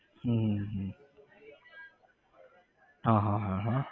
હમ હમ હમ હમ હા હા હા હા